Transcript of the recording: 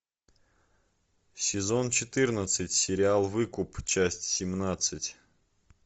сезон четырнадцать сериал выкуп часть семнадцать